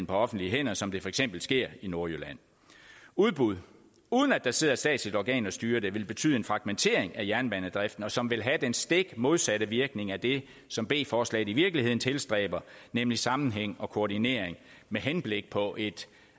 på offentlige hænder som det for eksempel sker i nordjylland udbud uden at der sidder et statsligt organ og styrer det vil betyde en fragmentering af jernbanedriften som vil have den stik modsatte virkning af det som b forslaget i virkeligheden tilstræber nemlig sammenhæng og koordinering med henblik på et